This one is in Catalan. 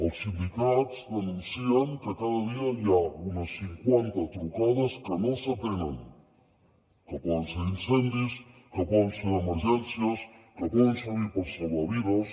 els sindicats denuncien que cada dia hi ha unes cinquanta trucades que no s’atenen que poden ser d’incendis que poden ser d’emergències que poden servir per salvar vides